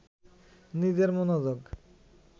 নিজের মনোযোগ